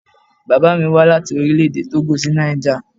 Bàbá mí wá láti Orílẹ̀-èdè Tógò sí Niger.